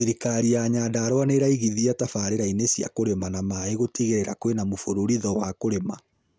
Thirikari ya Nyandarua nĩĩraigithia tabarĩrainĩ cĩa kũrĩma na maĩ, gũtigĩrĩra kwina mũbururizo ma kũrĩma